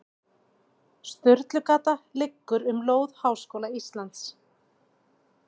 Sturlugata liggur um lóð Háskóla Íslands.